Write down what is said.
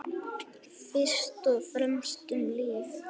Fyrst og fremst um líf.